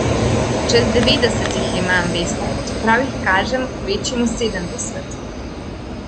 Čez devetdeset jih imam, veste, čeprav jih kažem kvečjemu sedemdeset.